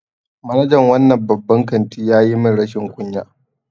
Manajan wannan babban kanti ya yi min rashin kunya.